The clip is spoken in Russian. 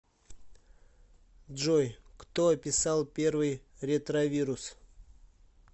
джой кто описал первый ретровирус